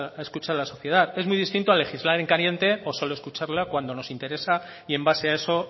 hay que escuchar a la sociedad es muy distinto a legislar en caliente o solo escucharla cuando nos interesa y en base a eso